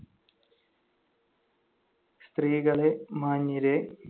സ്ത്രീകളേ, മാന്യരേ